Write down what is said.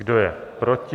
Kdo je proti?